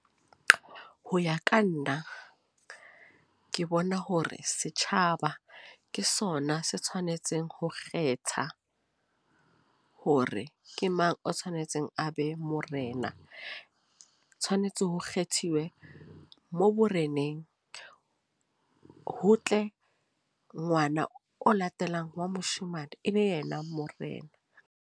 Ho ya ka nna, ke bona hore setjhaba ke sona se tshwanetseng ho kgetha, hore ke mang o tshwanetseng a be Morena. Tshwanetse ho kgethiwe mo boreneng. Ho tle ngwana o latelang wa moshemane, e be yena Morena.